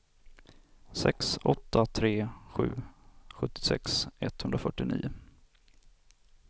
sex åtta tre sju sjuttiosex etthundrafyrtionio